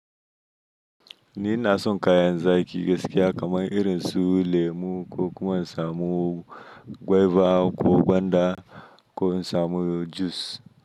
Ni ina son kayan zaki gaskiya kamar irin su lemu, ko kuma in samu guava ko gwanda, ko in samu jus.